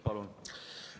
Palun!